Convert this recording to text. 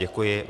Děkuji.